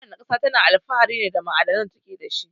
Ko wana ƙasa tana alfahari ne da ma'adanan da take dashi.